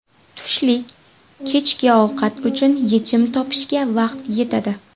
Tushlik, kechki ovqat uchun yechim topishga vaqt yetadi.